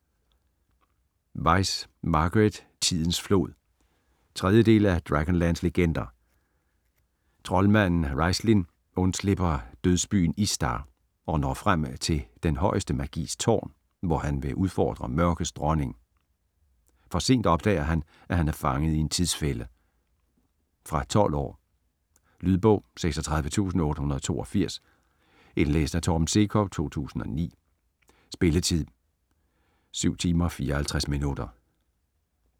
Weis, Margaret: Tidens flod 3. del af Dragonlance legender. Troldmanden Raistlin undslipper dødsbyen Istar og når frem til Den Højeste Magis Tårn, hvor han vil udfordre Mørkets Dronning. For sent opdager han, at han er fanget i en tidsfælde. Fra 12 år. Lydbog 36882 Indlæst af Torben Sekov, 2009. Spilletid: 7 timer, 54 minutter.